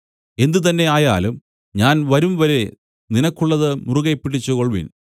എന്തുതന്നെ ആയാലും ഞാൻ വരുംവരെ നിനക്കുള്ളത് മുറുകെപ്പിടിച്ചുകൊൾവിൻ